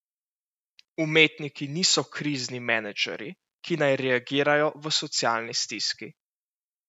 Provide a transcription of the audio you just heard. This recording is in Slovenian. Umetniki niso krizni menedžerji, ki naj reagirajo v socialni stiski.